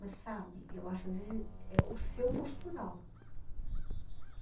Mas sabe, eu acho que às vezes é o seu postural.